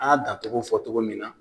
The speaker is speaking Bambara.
An y'a dancogo fɔ cogo min na